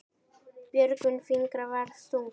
Björgin fingra varðist stungu.